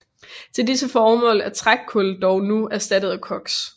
Til disse formål er trækul dog nu erstattet af koks